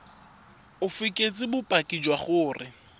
o fekese bopaki jwa gore